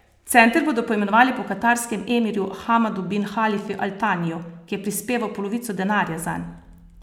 Center bodo poimenovali po katarskem emirju Hamadu bin Halifi al Taniju, ki je prispeval polovico denarja zanj.